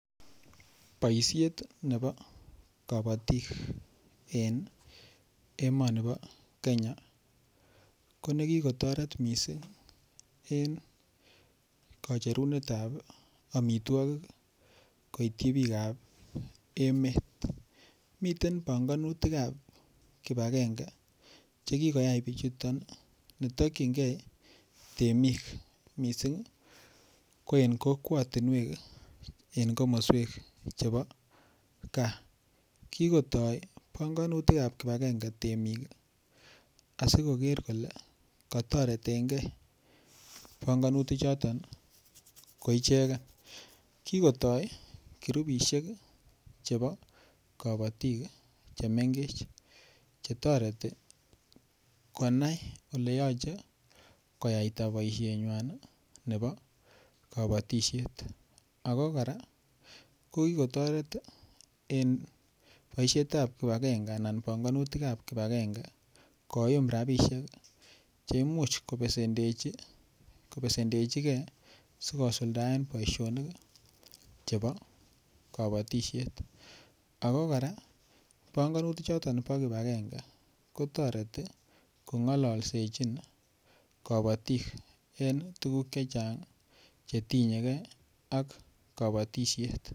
Boisiet nebo kabatik en emoni bo Kenya ko nekikotoret mising en kacherunetab amitwogik koityi bikap emet miten panganutik ab kibagenge Che kikoyai bichuton ne tokyingei temik ko en kokwatinwek en komoswek chebo gaa kigotoi panganutik ab kibagenge temik asi koger kole kotoretengei panganutichoto ko ichegen kikotoi kirupisiek chebo kabatik Che mengech Che toreti konai Ole yoche koyaita boisienywan nebo kabatisiet ako kora kokikotoret en boisiet ab kipagenge anan panganetab kibagenge koyum rabisiek Che imuch kobesendechige asi kosuldaen boisionik chebo kabatisiet ako kora panganutichoto bo kibagenge ko toreti kongolsechin kabatik en tuguk Che Chang Che tinye ge ak kabatisiet